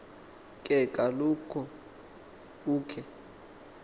ke kaloku ukhe